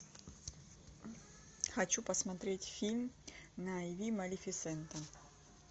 хочу посмотреть фильм на иви малефисента